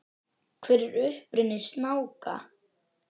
Hver er uppruni snáka?